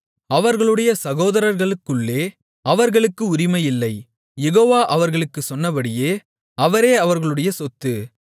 அவர்களுடைய சகோதரர்களுக்குள்ளே அவர்களுக்கு உரிமையில்லை யெகோவா அவர்களுக்குச் சொன்னபடியே அவரே அவர்களுடைய சொத்து